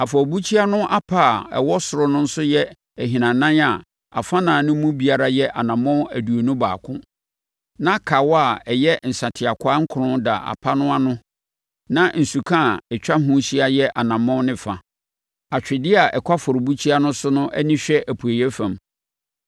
Afɔrebukyia no apa a ɛwɔ soro no nso yɛ ahinanan a afanan no mu biara yɛ anammɔn aduonu baako, na kawa a ɛyɛ nsateakwaa nkron da apa no ano na nsuka a atwa ho ahyia yɛ ɔnamɔn ne fa. Atwedeɛ a ɛkɔ afɔrebukyia no so no ani hwɛ apueeɛ fam.”